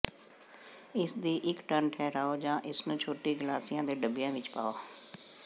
ਇਸ ਦੀ ਇਕ ਟਨ ਠਹਿਰਾਓ ਜਾਂ ਇਸ ਨੂੰ ਛੋਟੇ ਗਲਾਸਿਆਂ ਦੇ ਡੱਬਿਆਂ ਵਿਚ ਪਾਓ